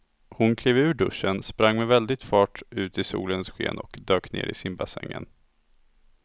Hon klev ur duschen, sprang med väldig fart ut i solens sken och dök ner i simbassängen.